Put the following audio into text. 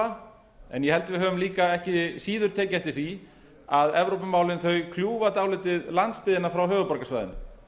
held að við höfum líka ekki síður tekið eftir því að evrópumálin kljúfa dálítið landsbyggðina frá höfuðborgarsvæðinu